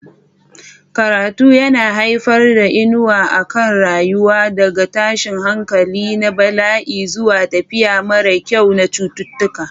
Karatu yana haifar da inuwa a kan rayuka, daga tashin hankali na bala'i zuwa tafiya mara kyau na cututtuka.